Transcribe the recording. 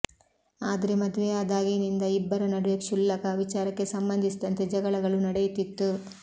ಆದ್ರೆ ಮದುವೆಯಾದಾಗಿನಿಂದ ಇಬ್ಬರ ನಡುವೆ ಕ್ಷುಲ್ಲಕ ವಿಚಾರಕ್ಕೆ ಸಂಬಂಧಿಸಿದಂತೆ ಜಗಳಗಳು ನಡೆಯುತ್ತಿತ್ತು